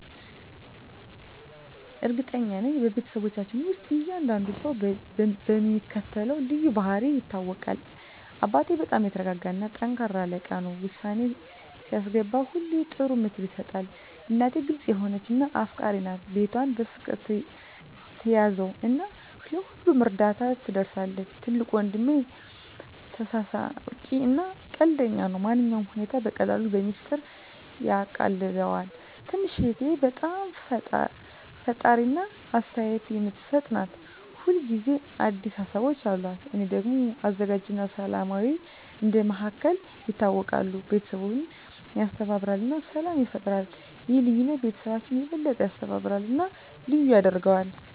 እርግጠኛ ነኝ፤ በቤተሰባችን ውስጥ እያንዳንዱ ሰው በሚከተሉት ልዩ ባህሪያት ይታወቃል - አባቴ በጣም የተረጋጋ እና ጠንካራ አለቃ ነው። ውሳኔ ሲያስገባ ሁሌ ጥሩ ምክር ይሰጣል። እናቴ ግልጽ የሆነች እና አፍቃሪች ናት። ቤቷን በፍቅር ትያዘው እና ለሁሉም እርዳታ ትደርሳለች። ትልቁ ወንድሜ ተሳሳቂ እና ቀልደኛ ነው። ማንኛውንም ሁኔታ በቀላሉ በሚስጥር ያቃልለዋል። ትንሽ እህቴ በጣም ፈጣሪ እና አስተያየት የምትሰጥ ናት። ሁል ጊዜ አዲስ ሀሳቦች አሉት። እኔ ደግሞ አዘጋጅ እና ሰላማዊ እንደ መሃከል ይታወቃለሁ። ቤተሰቡን ያስተባብራል እና ሰላም ይፈጥራል። ይህ ልዩነት ቤተሰባችንን የበለጠ ያስተባብራል እና ልዩ ያደርገዋል።